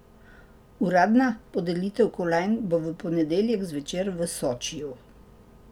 Uradna podelitev kolajn bo v ponedeljek zvečer v Sočiju.